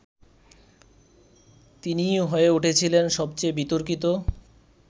তিনিই হয়ে উঠেছিলেন সবচেয়ে বিতর্কিত